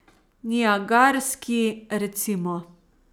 Niagarski, recimo?